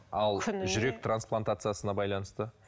ал жүрек трансплантациясына байланысты